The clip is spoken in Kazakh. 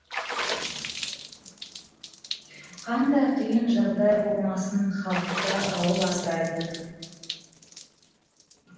қандай қиын жағдай болмасын халықты ауыл асырайды